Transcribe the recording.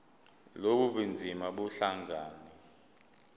lobu bunzima buhlangane